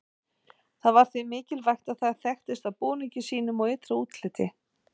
það var því mikilvægt að það þekktist á búningi sínum og ytra útliti